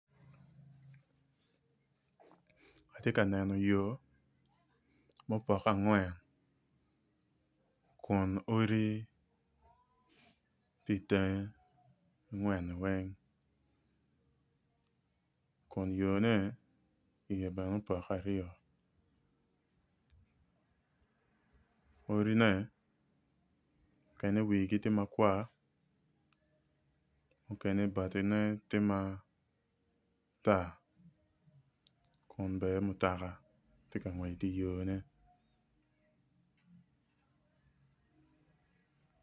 Atye ka neno yo ma opoke angwen kun odi tye i tenge angwen weng kun yone tye ma opoke aryo odine mukene wigi tye makwar mukne batine tye matar kun bene mutoka tye ka ngwec i yone.